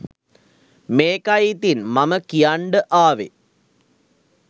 මේකයි ඉතින් මම කියන්ඩ ආවෙ